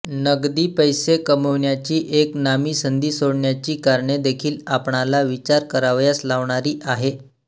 नगदी पैसे कमाविण्याची एक नामी संधी सोडण्याची कारणे देखील आपणाला विचार करावयास लावणारी आहे